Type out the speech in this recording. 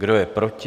Kdo je proti?